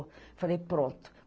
Eu falei, pronto.